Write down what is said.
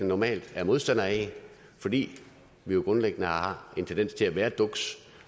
normalt er modstandere af fordi vi jo grundlæggende har en tendens til at være duks